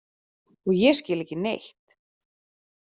Og ég skil ekki neitt.